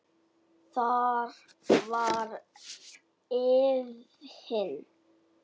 Þar var efinn.